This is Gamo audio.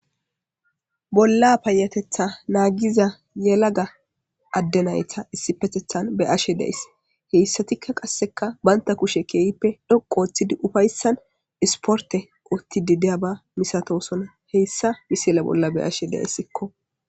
Bolla payatetha naagiza yelaga addenayta issipetethan be ashe deys heyssatikka qasseka banta kushe keeyippe dhoqoooththidi ufayssan isporte otti di deya ba misatosona heyssa misile bolla be ashe deyssikko